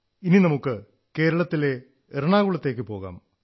ഇനി നമുക്ക് കേരളത്തിലെ എറണാകുളത്തേക്കു പോകാം